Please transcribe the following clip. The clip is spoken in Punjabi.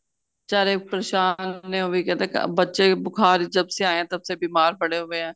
ਬਿਚਾਰੇ ਪਰੇਸ਼ਾਨ ਨੇ ਉਹ ਵੀ ਕਹਿੰਦੇ ਬੱਚੇ ਬੁਖਾਰ ਜਬ ਸੇ ਆਏ ਹੈ ਤਬ ਸੇ ਬੀਮਾਰ ਪੜੇ ਹੁਏ ਹੈ